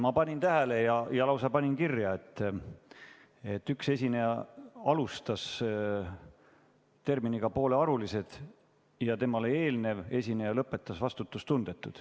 Ma panin tähele ja lausa panin kirja, et üks esineja alustas terminiga "poolearulised" ja temale eelnev esineja lõpetas sõnaga "vastutustundetu".